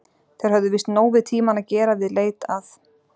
Þeir höfðu víst nóg við tímann að gera við leit að